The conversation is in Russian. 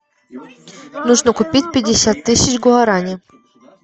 нужно купить пятьдесят тысяч гуарани